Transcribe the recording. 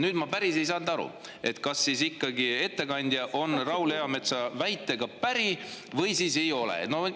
Ma päris hästi ei saanud aru, kas ikkagi ettekandja on Raul Eametsa väitega päri või ei ole.